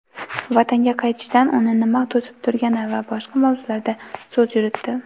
vatanga qaytishdan uni nima to‘sib turgani va boshqa mavzularda so‘z yuritdi.